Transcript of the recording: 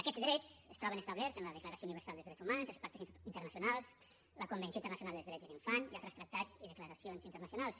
aquests drets es troben establerts en la declaració universal dels drets humans els pactes internacionals la convenció internacional dels drets de l’infant i altres tractats i declaracions internacionals